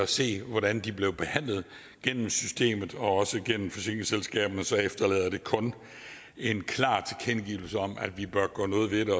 set hvordan de blev behandlet gennem systemet og også gennem forsikringsselskaberne efterlader det kun en klar tilkendegivelse om at vi bør gøre noget ved